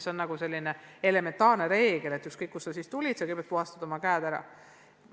See on elementaarne reegel, et ükskõik kust sa tulid, kõigepealt puhastad sa oma käed ära.